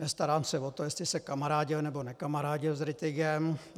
Nestarám se o to, jestli se kamarádil nebo nekamarádil s Rittigem.